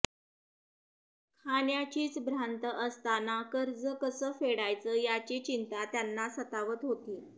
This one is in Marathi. खाण्याचीच भ्रांत असतांना कर्ज कसं फेडायचं याची चिंता त्यांना सतावत होता